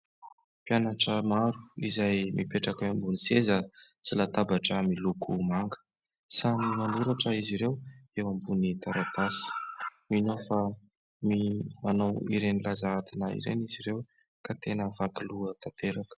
Mpianatra maro izay mipetraka eo ambony seza sy latabatra miloko manga. Samy manoratra izy ireo eo ambony taratasy. Mino aho fa manao ireny lazahadina ireny izy ireo ka tena vaky loha tanteraka.